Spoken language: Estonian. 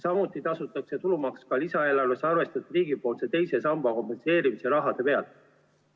Samuti tasutakse tulumaks lisaeelarves arvestatud riigipoolse teise samba kompenseerimise raha pealt.